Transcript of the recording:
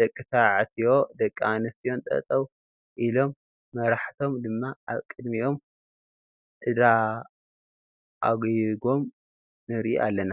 ደቂተባዕትዮን ደቂ ኣንስትዮን ጠጠው አሎም መራሓቶም ድማ ኣብ ቅዲሚኦም እዳራኣይጎም ንርኢ ኣለና